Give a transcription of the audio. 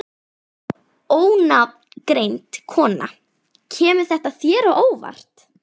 Ónafngreind kona: Kemur þetta þér á óvart?